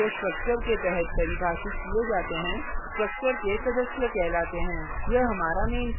variables जो structure के तहत परिभाषित किये जाते हैं structure के सदस्य कहलाते हैं